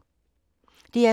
DR2